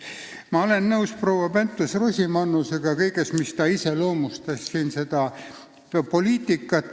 Ma olen nõus proua Pentus-Rosimannusega selles, kuidas ta iseloomustas seda poliitikat.